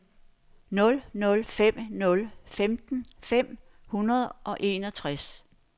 nul nul fem nul femten fem hundrede og enogtres